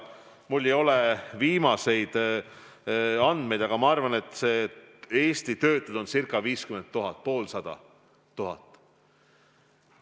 Mul ei ole viimaseid andmeid, aga ma arvan, et Eestis on töötuid circa 50 000, poolsada tuhat.